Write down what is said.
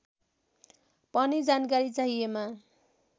पनि जानकारी चाहिएमा